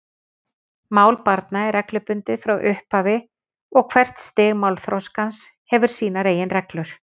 Mál barna er reglubundið frá upphafi og hvert stig málþroskans hefur sínar eigin reglur.